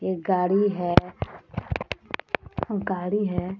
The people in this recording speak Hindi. ये गाड़ी है गाड़ी है।